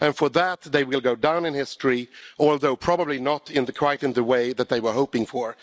For that they will go down in history, although probably not quite in the way that they were hoping for.